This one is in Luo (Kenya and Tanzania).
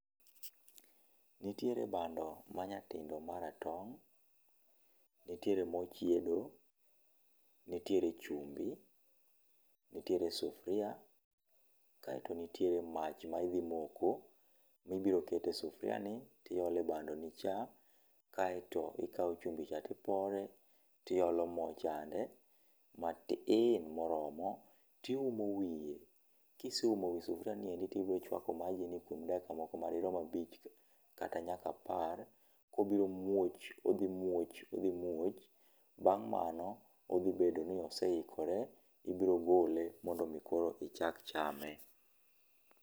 Nitiere bando manyatindo maratong', nitiere mo chiedo, nitiere chumbi, nitiere sufria kaeto nitiere mach maidhi moko, mibiro ketee sufriani, tiole bandoni cha, kaeto ikawo chumbi cha tipore, tiolo mo chande, matin moromo tiumo wiye. Kise umo wi sufria ni endi tibo chuako majini kuom dakika moko madirom abich kata nyaka apar. Obiro muoch, odhi muoch, odhi muoch. Bang' mano, odhi bedo ni osee ikore, ibiro gole mondo mi koro ichak chame.